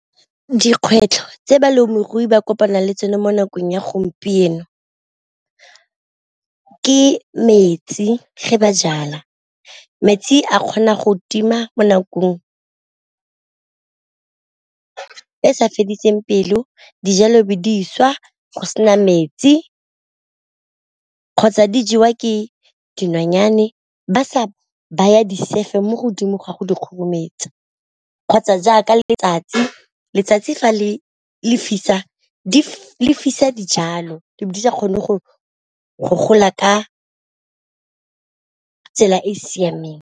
Dikgwetlho tse balemirui ba kopana le tsone mo nakong ya gompieno ke metsi fa ba jala, metsi a kgona go tima mo nakong e sa fediseng pelo dijalo be diswa go sena metsi, kgotsa di jewa ke dinonyane ba sa baya di sefe mo godimo ga go di kgorumetsa, kgotsa jaaka letsatsi letsatsi fa le fisa le fisa dijalo di be di sa kgone go gola ka tsela e e siameng.